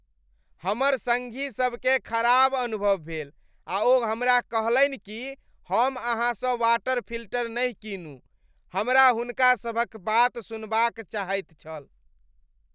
हमर सङ्गीसभकेँ खराब अनुभव भेल आ ओ हमरा कहलनि कि हम अहाँसँ वाटर फिल्टर नहि कीनू। हमरा हुनका सभक बात सुनबाक चाहैत छल।